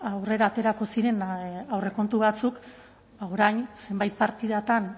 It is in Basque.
aurrera aterako ziren aurrekontu batzuk orain zenbait partidatan